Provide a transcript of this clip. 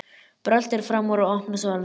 Bröltir fram úr og opnar svaladyr.